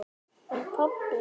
Sæl mamma sagði Lilla.